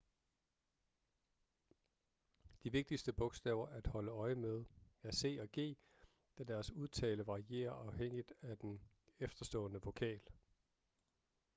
de vigtigste bogstaver at holde øje med er c og g da deres udtale varierer afhængigt af den efterstående vokal